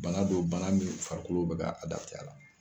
Bana don bana min farikolo bɛ a la